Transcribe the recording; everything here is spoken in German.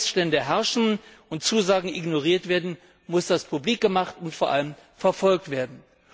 Wo immer Missstände herrschen und Zusagen ignoriert werden, muss dass publik gemacht und vor allem verfolgt werden.